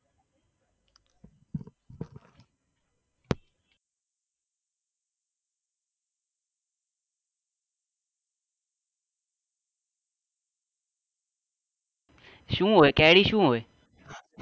શું હોય કેરી શું હોય?